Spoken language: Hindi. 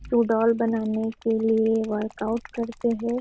सुडौल बनाने के लिए वर्कआउट करते है।